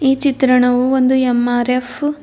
ಈ ಚಿತ್ರಣವು ಒಂದು ಎಂ_ಆರ್_ಎಫ್ --